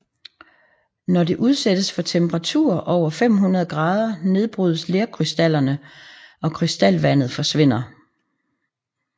Når det udsættes for temperaturer over 500 grader nedbrydes lerkrystallerne og krystalvandet forsvinder